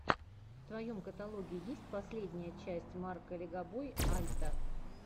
в твоем каталоге есть последняя часть марка легобой альта